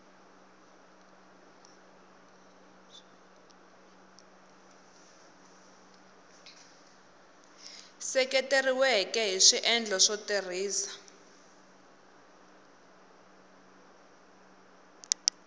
seketeriweke hi swiendlo swo tirhisa